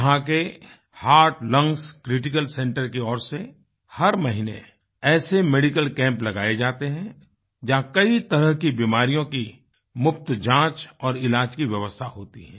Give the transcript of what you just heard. यहाँ के heart lungs critical centre की ओर से हर महीने ऐसे मेडिकल कैंप लगाये जाते हैं जहाँ कई तरह की बीमारियों की मुफ्त जाँच और इलाज की व्यवस्था होती है